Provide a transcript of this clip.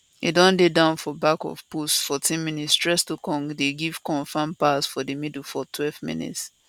e don dey down for back of post 14mins troostekong dey give confam pass for di middle 12mins